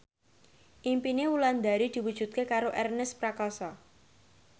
impine Wulandari diwujudke karo Ernest Prakasa